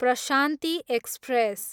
Prashanti express